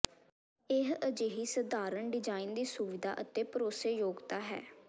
ਇਹ ਅਜਿਹੀ ਸਧਾਰਨ ਡਿਜ਼ਾਈਨ ਦੀ ਸੁਵਿਧਾ ਅਤੇ ਭਰੋਸੇਯੋਗਤਾ ਹੈ